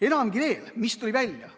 Enamgi veel, mis tuli välja?